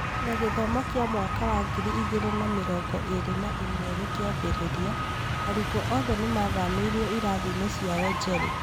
Na gĩthomo kĩa mwaka wa ngiri igĩrĩ na mĩrongo ĩrĩ na ĩmwe gĩkĩambĩrĩria, arutwo othe nĩ maathamĩirio ĩrathiĩ-inĩ ciao njerũ